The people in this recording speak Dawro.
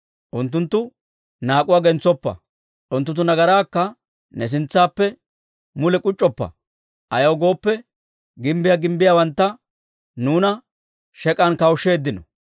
Unttunttu naak'uwaa gentsoppa; unttunttu nagaraakka ne sintsaappe mule k'uc'c'oppa. Ayaw gooppe, gimbbiyaa gimbbiyawantta nuuna shek'an kawushsheeddino».